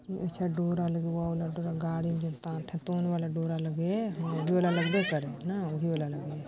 अच्छा डोरा लग वो वाला डोरा गाड़ी में जेन लगे डोरा लगबे करे ना उही वाला लगे हे।